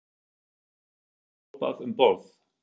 Jón Örn Guðbjartsson: Var hrópað um borð?